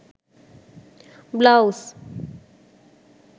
blouse